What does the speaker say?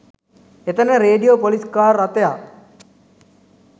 එතැන radio police car රථයක්